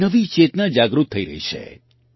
એક નવી ચેતના જાગૃત થઈ રહી છે